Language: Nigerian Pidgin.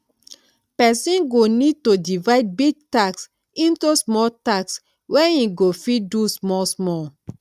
person go need to divide big tasks into small tasks wey im go fit do small small